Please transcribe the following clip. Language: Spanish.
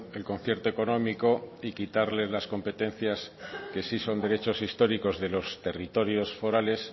el concierto económico y quitarles las competencias que sí son derechos históricos de los territorios forales